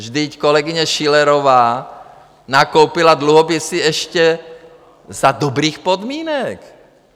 Vždyť kolegyně Schillerová nakoupila dluhopisy ještě za dobrých podmínek.